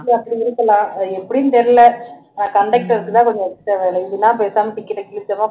அப்படி இது பண்ணலாம் அது எப்படின்னு தெரியல conductor க்கு தான் கொஞ்சம் extra வேலை இதுன்னா பேசாம ticket அ கிழிச்சோமா